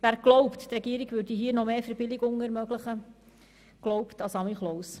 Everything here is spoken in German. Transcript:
Wer glaubt, die Regierung würde hier noch mehr Verbilligungen ermöglichen, glaubt an den «Samichlous».